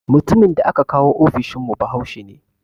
Mutumin da aka kawo ofishin mu bahaushe ne